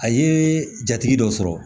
A ye jatigi dɔ sɔrɔ